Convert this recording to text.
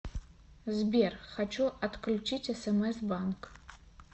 сбер хочу отключить смс банк